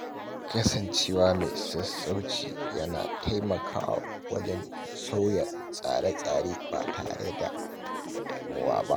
Kasancewa mai sassauci yana taimakawa wajen sauya tsare-tsare ba tare da damuwa ba.